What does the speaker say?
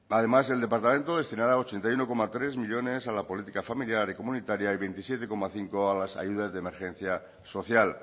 además el departamento destinará ochenta y uno coma tres millónes a la política familiar y comunitaria y veintisiete coma cinco a las ayudas de emergencia social